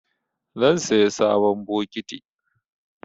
Zan saya sabon bokiti.